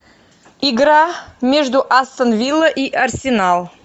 игра между астон вилла и арсенал